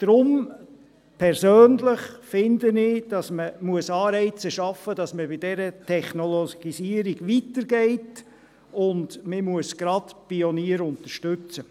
Deshalb finde ich persönlich, dass man Anreize schaffen muss, dass man bei dieser Technologisierung weitergeht, und man muss gerade Pioniere unterstützen.